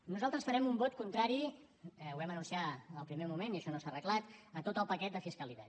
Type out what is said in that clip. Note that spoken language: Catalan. nosaltres farem un vot contrari ho vam anunciar al primer moment i això no s’ha arreglat a tot el paquet de fiscalitat